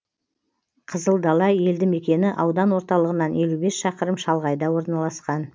қызылдала елді мекені аудан орталығынан елу бес шақырым шалғайда орналасқан